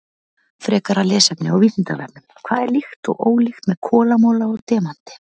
Frekara lesefni á Vísindavefnum: Hvað er líkt og ólíkt með kolamola og demanti?